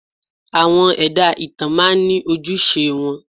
Àwọn ẹ̀dá ìtàn máa ń ní ojúṣe wọn.